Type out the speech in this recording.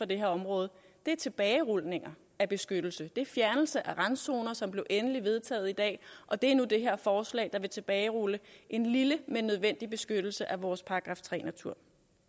det her område er tilbagerulninger af beskyttelse det er fjernelse af randzoner som blev endelig vedtaget i dag og det er nu det her forslag der vil tilbagerulle en lille men nødvendig beskyttelse af vores § tre natur